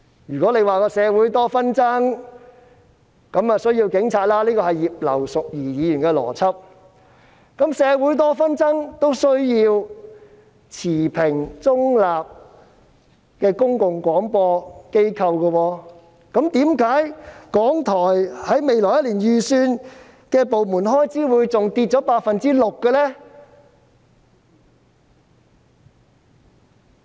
如果說社會多紛爭，所以需要有警察——這是葉劉淑儀議員的邏輯——然而，當社會多紛爭時，其實也需要持平、中立的公共廣播機構，為何港台未來一年的部門預算開支竟下跌了 6% 呢？